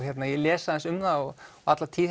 ég les aðeins um það og alla tíð